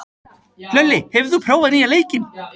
Hlölli, hefur þú prófað nýja leikinn?